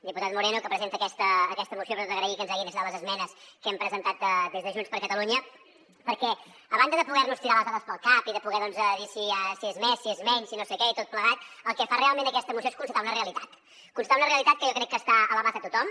diputat moreno que presenta aquesta moció li he d’agrair que ens hagin acceptat les esmenes que hem presentat des de junts per catalunya perquè a banda de poder nos tirar les dades pel cap i de poder doncs dir si és més si és menys si no sé què i tot plegat el que fa realment aquesta moció és constatar una realitat constatar una realitat que jo crec que està a l’abast de tothom